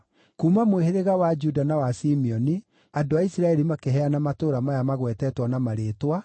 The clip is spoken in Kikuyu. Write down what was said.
Kuuma mũhĩrĩga wa Juda na wa Simeoni andũ a Isiraeli makĩheana matũũra maya magwetetwo na marĩĩtwa